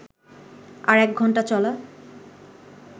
আর এক ঘন্টা চলা